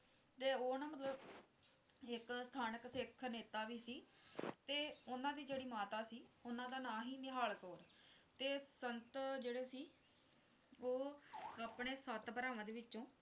ਤੇ ਉਹ ਨਾ ਮਤਲਬ ਇੱਕ ਸਥਾਨਿਕ ਸਿੱਖ ਨੇਤਾ ਵੀ ਸੀ ਤੇ ਉਨ੍ਹਾਂ ਦੀ ਜਿਹੜੀ ਮਾਤਾ ਸੀ ਉਨ੍ਹਾਂ ਦਾ ਨਾਮ ਸੀ ਨਿਹਾਲ ਕੌਰ ਤੇ ਸੰਤ ਜਿਹੜੇ ਸੀ ਉਹ ਆਪਣੇ ਸੱਤ ਭਰਾਵਾਂ ਦੇ ਵਿੱਚੋਂ